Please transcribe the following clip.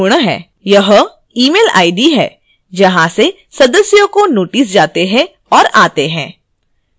यह email id है जहां से सदस्यों को notices जाते हैं और आते हैं